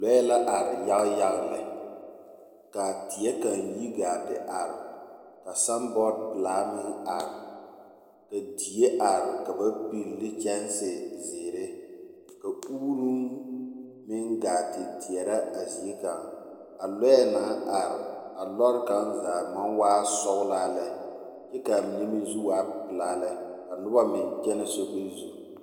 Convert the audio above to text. Lɔɛ la ar yaga yaga lɛ, ka teɛ kaŋ yi gaa te are, ka sanbɔɔd pelaa meŋ are, ka die are ka ba peli ne kyɛnse zeere, ka uuroŋ meŋ gaa te teɛrɛ a zie kaŋ, a lɔɛ naŋ are, a lɔɔre kaŋ zaa maŋ waa sɔglaa lɛ kyɛ ka a mine zu waa pelaa lɛ, ka noba meŋ kyɛnɛ sobiri zu. 13336